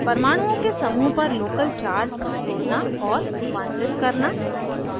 परमाणुओं के समूह पर local charge जोड़ना और रूपांतरित करना